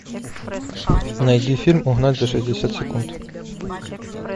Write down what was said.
найди фильм угнать за шестьдесят секунд